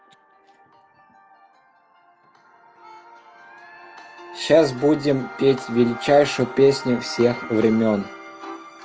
сейчас будем петь величайшие песни всех времён